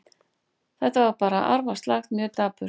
Þetta var bara arfaslakt, mjög dapurt.